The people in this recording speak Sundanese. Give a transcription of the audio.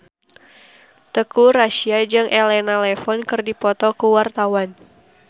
Teuku Rassya jeung Elena Levon keur dipoto ku wartawan